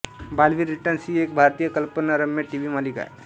Baalveer returns ही एक भारतीय कल्पनारम्य टीव्ही मालिका आहे